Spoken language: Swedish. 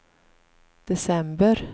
december